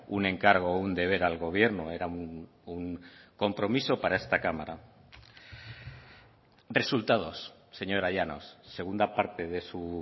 un encargo o un deber al gobierno era un compromiso para esta cámara resultados señora llanos segunda parte de su